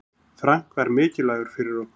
Frank var mikilvægur fyrir okkur.